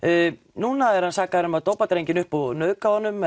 núna er hann sakaður um að dópa drenginn upp og nauðga honum